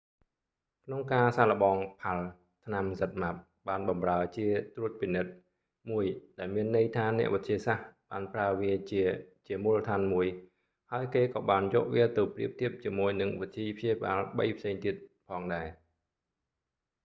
ក្នុងការសាកល្បង palm ផាល់ម៍ ថ្នាំ zmapp បានបម្រើជាត្រួតពិនិត្យមួយ ដែលមានន័យថាអ្នកវិទ្យាសាស្ត្របានប្រើវាជាជាមូលដ្ឋានមួយ ហើយគេក៏បានយកវាទៅប្រៀបធៀបជាមួយនឹងវិធីព្យាបាលបីផ្សេងទៀងផងដែរ